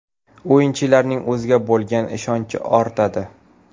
O‘yinchilarning o‘ziga bo‘lgan ishonchi ortadi.